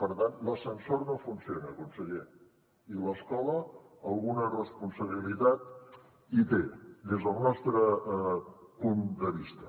per tant l’ascensor no funciona conseller i l’escola alguna responsabilitat hi té des del nostre punt de vista